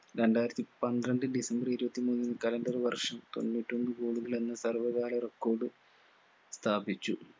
രണ്ടായിരത്തി പന്ത്രണ്ട് ഡിസംബർ ഇരുപത്തി മൂന്ന് calender വർഷം തൊണ്ണൂറ്റൊന്ന് goal കൾ എന്ന സർവ്വകാല record സ്ഥാപിച്ചു